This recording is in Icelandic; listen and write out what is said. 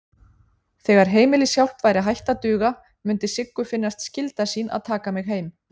Þegar heimilishjálp væri hætt að duga mundi Siggu finnast skylda sín að taka mig heim.